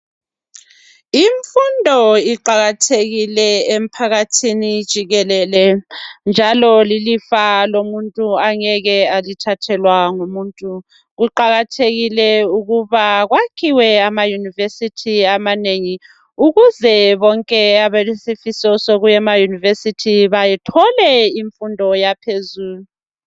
Imfundo iqakathekile emphakathini jikelele njalo lilifa lomuntu angeke alithathelwa ngumuntu. Kuqakathekile ukuba kwakhiwe amaYunivesi amanengi ukuze bonke abalesifiso sokuya emaYunivesi bathole imfundo yaphezulu.